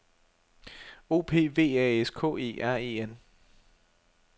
O P V A S K E R E N